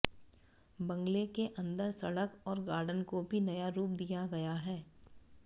बंगले के अंदर सड़क और गार्डन को भी नया रूप दिया गया है